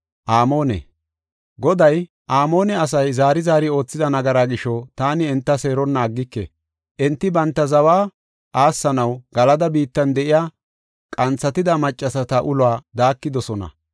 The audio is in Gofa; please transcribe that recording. Goday, “Amoone asay zaari zaari oothida nagaraa gisho, taani enta seeronna aggike. Enti banta zawa aassanaw Galada biittan de7iya qanthatida maccasata uluwa daakidosona.